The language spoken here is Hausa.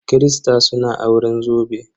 Kirista suna auren zobe.